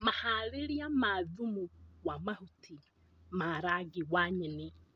Maharĩria ma thumu wa mahuti ma rangi wa nyeni